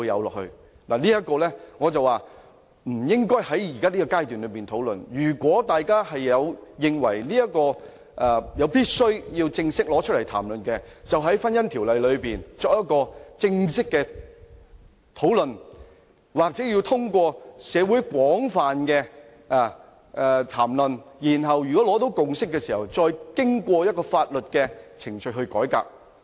我覺得這個議題不應在這個階段討論，如果大家認為有必要正式討論這個議題，可以就《婚姻條例》進行正式討論，或者通過社會的廣泛討論，在取得共識後，再透過法定程序進行改革。